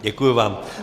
Děkuji vám.